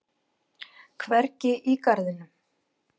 Hvergi í garðinum.